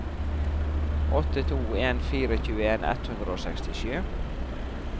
åtte to en fire tjueen ett hundre og sekstisju